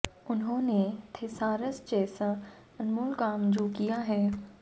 उन्हों ने थिसारस जैसा अनमोल काम जो किया है